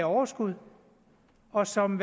overskud og som